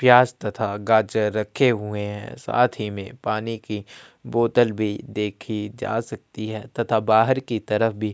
प्याज तथा गाजर रखे हुए हैं साथ ही में पानी की बोतल भी देखी जा सकती है तथा बाहर की तरफ भी--